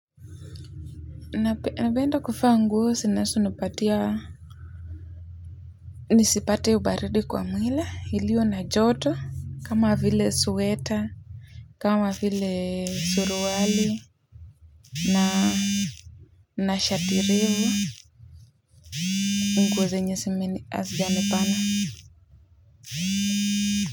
Napenda kuvaa nguo zinazonipatia. Nisipate ubaridi kwa mwili iliyo na joto kama vile sweta. Kama vile suruali na na shati refu, nguo zenye hazijanibana.